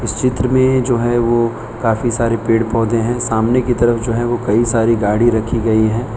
इस चित्र में जो है वो काफी सारे पेड़ पौधे हैं सामने की तरफ जो है वो कई सारी गाड़ी रखी गई है।